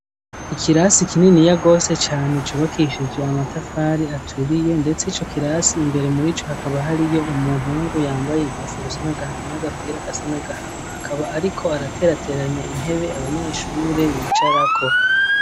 Ikirasi kininiya rwose cane cubakishije amatafari aturiye ndetse ico kirasi imbere murico hakaba hariyo umuhungu yambaye inkofero isa n'agahama n'agapira gasa n'agahama akaba ariko araterateranya intebe abanyeshure bicara ko.